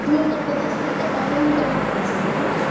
ତମେ ମୋର କଥା ଶୁଣିସା ଦେଇକିରି ମୁଇଁ ତମର କଥା ଶୁଣିବି